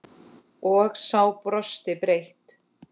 Og sá brosti breitt.